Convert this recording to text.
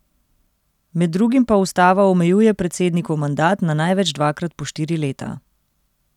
Med drugim pa ustava omejuje predsednikov mandat na največ dvakrat po štiri leta.